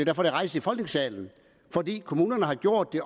er rejst i folketingssalen fordi kommunerne har gjort det